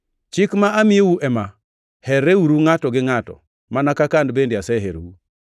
Chik ma amiyou ema: Herreuru ngʼato gi ngʼato, mana kaka an bende aseherou.